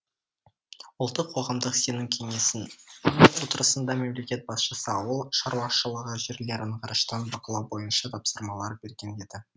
ұлттық қоғамдық сенім кеңесінің отырысында мемлекет басшысы ауыл шаруашылығы жерлерін ғарыштан бақылау бойынша тапсырмалар берген еді